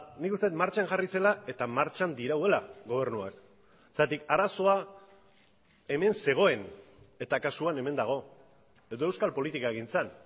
nik uste dut martxan jarri zela eta martxan dirauela gobernuak zergatik arazoa hemen zegoen eta kasuan hemen dago edo euskal politikagintzan